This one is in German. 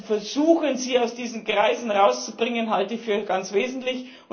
zu versuchen, sie aus diesen Kreisen herauszubringen, halte ich für ganz wesentlich